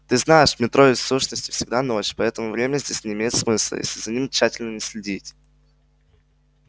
ты знаешь в метро ведь в сущности всегда ночь поэтому время здесь не имеет смысла если за ним тщательно не следить